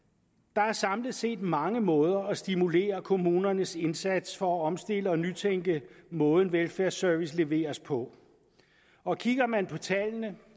der er samlet set mange måder at stimulere kommunernes indsats for at omstille og nytænke måden velfærdsservice leveres på og kigger man på tallene